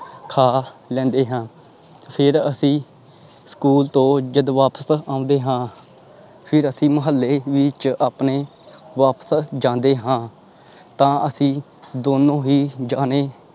ਖਾ ਲੈਂਦੇ ਹਾਂ ਫਿਰ ਅਸੀਂ ਸਕੂਲ ਤੋਂ ਜਦ ਵਾਪਿਸ ਆਉਂਦੇ ਹਾਂ ਫਿਰ ਅਸੀਂ ਮੁਹੱਲੇ ਵਿੱਚ ਆਪਣੇ ਵਾਪਸ ਜਾਂਦੇ ਹਾਂ ਤਾਂ ਅਸੀਂ ਦੋਨੋਂ ਹੀ ਜਾਣੇ